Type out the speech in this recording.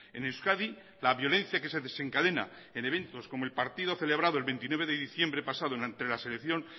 en euskadi la violencia que se desencadena en eventos como el partido celebrado el veintinueve de diciembre pasado entre la selección